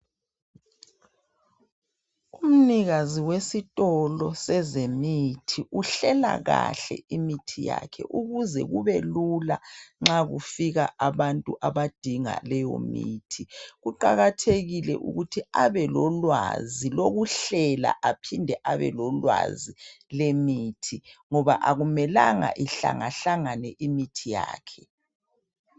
Umnikazi wesitolo sezemithi uhlela kahle imithi yakhe ukuze kubelula nxa kufika abantu abadinga leyo mithi. Kuqakathekile ukuthi abelolwazi lokuhlela aphinde abelolwazi lwemithi ngoba akumelanga ihlangahlangane imithi yakhe.